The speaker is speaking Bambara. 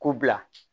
K'u bila